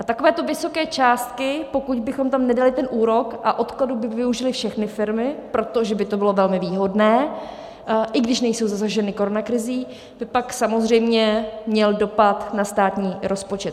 A takovéto vysoké částky, pokud bychom tam nedali ten úrok a odkladu by využily všechny firmy, protože by to bylo velmi výhodné, i když nejsou zasaženy koronakrizí, by pak samozřejmě měl dopad na státní rozpočet.